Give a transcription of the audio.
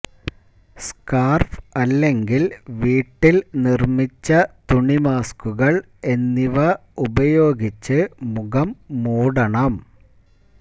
scarf അല്ലെങ്കിൽ വീട്ടിൽ നിർമ്മിച്ച തുണി മാസ്കുകൾ എന്നിവ ഉപയോഗിച്ച് മുഖം മൂടണം